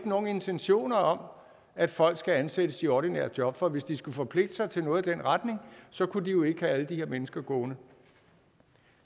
nogen intentioner om at folk skal ansættes i ordinære job for hvis de skulle forpligte sig til noget i den retning kunne de jo ikke have alle de her mennesker gående